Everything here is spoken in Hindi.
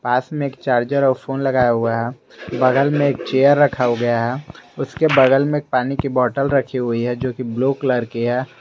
पास में एक चार्जर और फोन लगाया हुआ है बगल में एक चेयर रखा गया है उसके बगल में पानी की बॉटल रखी हुई है जोकि ब्लू कलर की है।